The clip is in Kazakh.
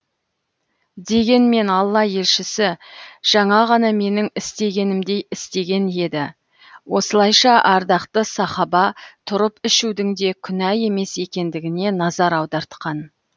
дегенмен алла елшісі жаңа ғана менің істегенімдей істеген еді осылайша ардақты сахаба тұрып ішудің де күнә емес екендігіне назар аудартқан